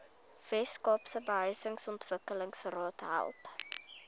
weskaapse behuisingsontwikkelingsraad help